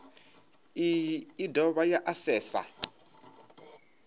iyi i dovha ya asesa